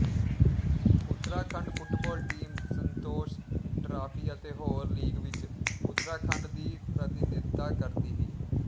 Uttarakhand football team Santosh trophy ਅਤੇ ਹੋਰ league ਵਿਚ ਉਤਰਾਖੰਡ ਦੀ ਪ੍ਰਤੀਨਿਧਤਾ ਕਰਦੀ ਹੈ